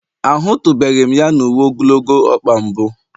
Ahụtụbeghị m ya na uwe ogologo ọkpa mbụ